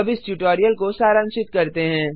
अब इस ट्यटोरियल को सारांशित करते हैं